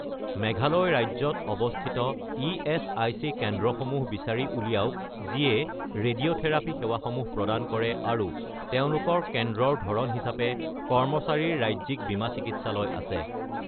মেঘালয় ৰাজ্যত অৱস্থিত ইএচআইচি কেন্দ্ৰসমূহ বিচাৰি উলিয়াওক যিয়ে ৰেডিঅ'থেৰাপি সেৱাসমূহ প্ৰদান কৰে আৰু তেওঁলোকৰ কেন্দ্ৰৰ ধৰণ হিচাপে কৰ্মচাৰীৰ ৰাজ্যিক বীমা চিকিৎসালয় আছে।